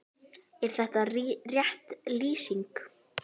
Er það rétt lýsing?